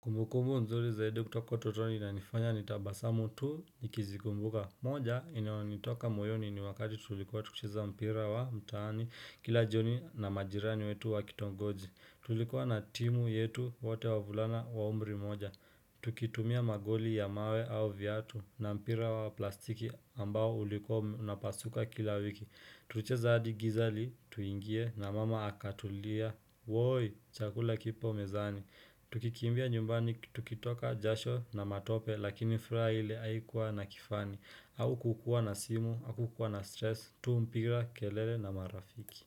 Kumbu kumbu mzuri zaidi kutoka utotoni inanifanya nitabasamu tu nikizikumbuka moja inaonitoka moyoni ni wakati tulikuwa tukicheza mpira wa mtaani kila jioni na majirani wetu wakitungoji Tulikuwa na timu yetu wote wavulana wa umri moja Tukitumia magoli ya mawe au viatu na mpira wa plastiki ambao ulikua unapasuka kila wiki Tulicheza adi gizali tuingie na mama akatulia Woi chakula kipo mezani Tukikimbia nyumbani, tukitoka jasho na matope lakini furaile haikua na kifani haukukua na simu, au kukua na stress, tu mpira kelele na marafiki.